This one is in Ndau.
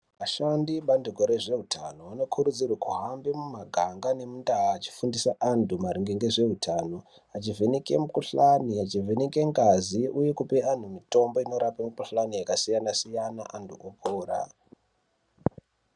Vashandi vebandiko rezveutano vanokurudzirwa kuhamba mumaganga nemundau vechifundisa antu maringe ngezveutano vachivheneka mukhuhlani vachivheneka ngazi uye kupa antu mitombo yakasiyana siyana antu opora.